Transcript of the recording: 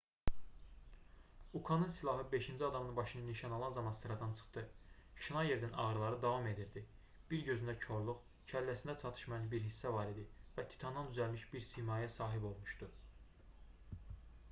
ukanın silahı beşinci adamın başını nişan alan zaman sıradan çıxdı şnayerdin ağrıları davam edirdi bir gözündə korluq kəlləsində çatışmayan bir hissə var idi və titandan düzəlmiş bir simaya sahib olmuşdu